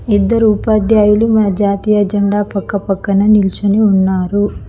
ఇద్దరు ఉపాధ్యాయులు మా జాతీయ జెండా పక్క పక్కన నిలుచుని ఉన్నారు.